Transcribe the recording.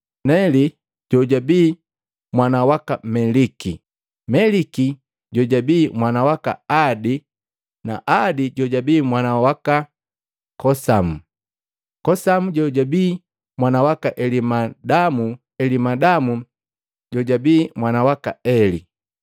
Neli jojabii mwana waka Meliki, Meliki jojabii mwana waka Adi, Adi jojabii mwana waka Kosamu, Kosamu jojabii mwana waka Elimadamu, Elimadamu jojabii mwana waka Eli,